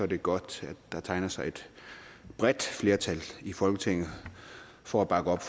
det godt at der tegner sig et bredt flertal i folketinget for at bakke op